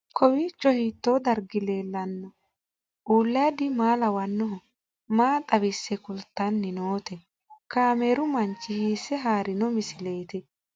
Kowiicho hiito dargi leellanni no ? ulayidi maa lawannoho ? maa xawisse kultanni noote ? kaameru manchi hiisse haarino misileeti?